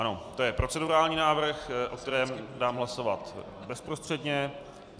Ano, to je procedurální návrh, o kterém dám hlasovat bezprostředně.